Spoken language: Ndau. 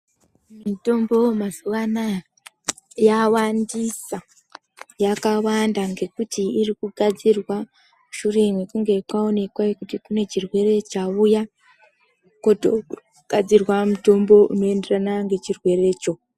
Mitombo mazuwa anaya yawandisa. Yakawanda ngekuti irikugadzirwa mushure mekunge kwaonekwa kune chirwere chauya, kotogadzirwa mutombo unoenderana ngechirwerecho.